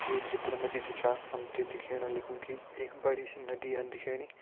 ये चित्र मा जी जु छा हम तें दिखेण लग्युं कि एक बड़ी सी नदी हन दिखेणी।